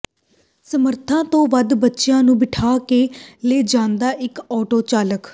ਸਮਰੱਥਾ ਤੋਂ ਵੱਧ ਬੱਚਿਆਂ ਨੂੰ ਬਿਠਾ ਕੇ ਲਿਜਾਂਦਾ ਇਕ ਆਟੋ ਚਾਲਕ